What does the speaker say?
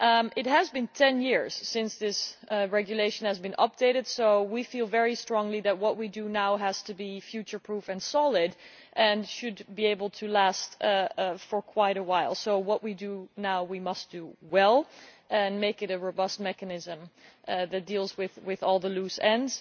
It has been 10 years since this regulation has been updated, so we feel very strongly that what we do now has to be future-proof and solid and should be able to last for quite a while, so what we do now we must do well and make it a robust mechanism that deals with all the loose ends.